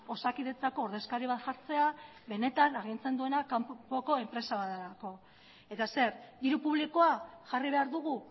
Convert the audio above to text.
osakidetzako ordezkari bat jartzea benetan agintzen duena kanpoko enpresa bat delako eta zer diru publikoa jarri behar dugu